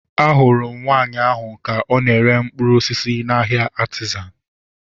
Ahụrụ m nwaanyị ahu ka ọ na-ere mkpụrụ osisi n'ahia Artizan